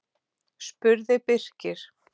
spurði Birkir.